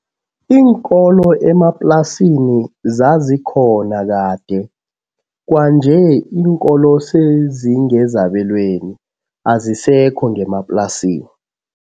Iinkolo emaplasini zazikhona kade, kwanje iinkolo sezingezabelweni azisekho ngemaplasini.